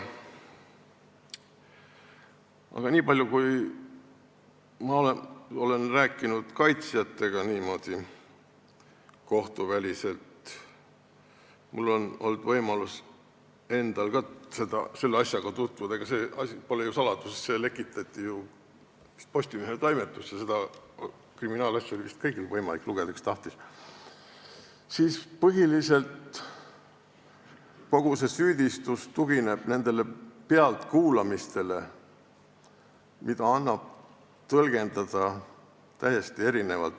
Aga niipalju kui ma olen kaitsjatega kohtuväliselt rääkinud – mul on olnud võimalus selle asjaga tutvuda, ega see pole saladus, see lekitati ju Postimehe toimetusse ja seda kriminaalasja oli vist võimalik lugeda kõigil, kes tahtsid –, siis võin öelda, et põhiliselt tugineb kogu see süüdistus nendele pealtkuulamistele, mida annab tõlgendada täiesti erinevalt.